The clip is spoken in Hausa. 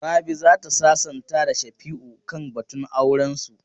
Rabi za ta sasanta da Shafi'u kan batun aurensu.